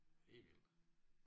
Helt vildt